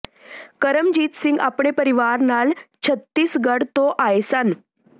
ਕਰਮਜੀਤ ਸਿੰਘ ਆਪਣੇ ਪਰਿਵਾਰ ਨਾਲ ਛਤੀਸਗੜ੍ਹ ਤੋਂ ਆਏ ਸਨ